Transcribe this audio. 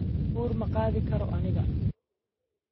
Uur ma qaadi karo aniga